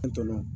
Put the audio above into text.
An tɔɔrɔ